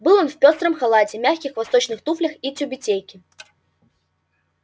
был он в пёстром халате мягких восточных туфлях и тюбетейке